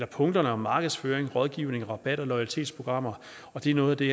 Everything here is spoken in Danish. punkterne om markedsføring rådgivning og rabat og loyalitetsprogrammer og det er noget af det